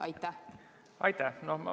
Aitäh!